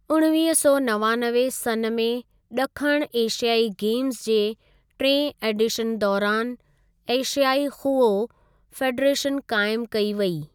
उणिवींह सौ नवानवे सन् में ॾखणु एशियाई गेम्ज़ जे टिएं एडीशन दौरानि एशियाई खूहो फ़ेडरेशन क़ाइमु कई वेई।